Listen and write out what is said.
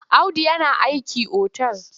Audu yana aiki otal.